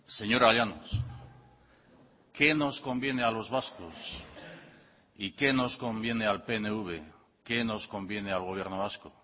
señora llanos qué nos conviene a los vascos y qué nos conviene al pnv qué nos conviene al gobierno vasco